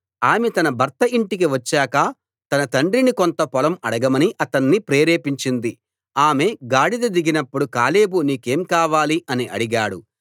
ఆమె తన భర్త ఇంటికి వచ్చాక తన తండ్రిని కొంత పొలం అడగమని అతణ్ణి ప్రేరేపించింది ఆమె గాడిద దిగినప్పుడు కాలేబు నీకేం కావాలి అని అడిగాడు